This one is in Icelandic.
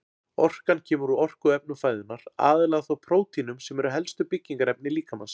Orkan kemur úr orkuefnum fæðunnar, aðallega þó prótínum sem eru helstu byggingarefni líkamans.